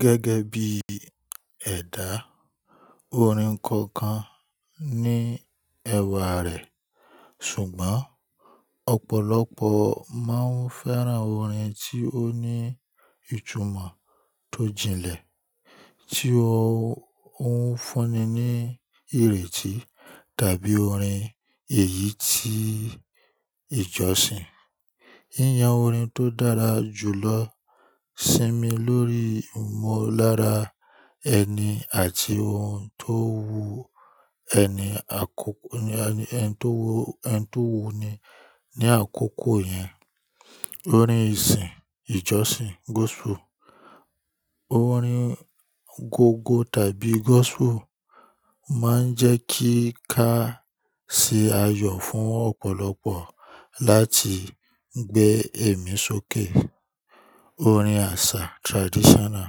Gẹ́gẹ́ bí ẹ̀dá, orin kọ̀ọ̀kan ní ẹwà rẹ̀, ṣùgbọ́n ọ̀pọ̀lọpọ̀ máa ń fẹ́ran orin tí ó ní ìtumọ̀ tó jinlẹ̀ tí ó ń fúnni ní ìrètí tàbí orin èyí tí ìjọsìn. Yíyan orin tó dára jù lọ sínmi l'órí ìmọ̀lára ẹni àti ohun tó wu ẹni àkọ́kọ́, ẹni tó wu ẹni tó wú ni ní àkókò yẹn. Orin ìsìn, ìjọsìn gospel, orin gọ́gọ́ tàbí gospel máa ń jẹ́ kí ká ṣe ayọ̀ fún ọ̀pọ̀lọpọ̀ láti gbé ẹ̀mí sókè. Orin àṣà traditional,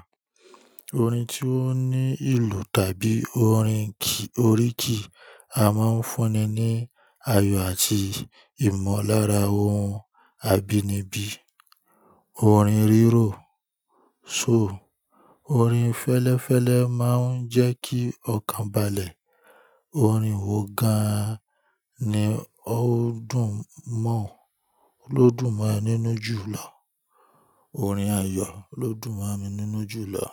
orin tí ó ní ìlú tàbí orin ki, oríkì a máa ń fúnni ní ayọ̀ àti ìmọ̀lára ohun abínibí. Orin rírò soul, orin fẹ́lẹ́fẹ́lẹ́ máa ń jẹ́ kí ọkàn balẹ̀. Orin wò gan-an ni ó dùn mọ́ ó ló dùn máa e nínú jù lọ. Orin ayọ̀ ló dùn máa mi nínú jù lọ.